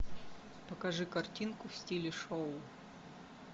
покажи картинку в стиле шоу